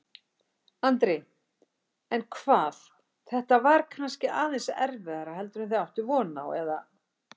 Andri: En hvað, þetta var kannski aðeins erfiðara heldur en þið áttuð von á, eða?